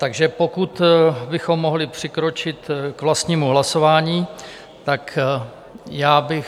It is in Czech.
Takže pokud bychom mohli přikročit k vlastnímu hlasování, tak já bych...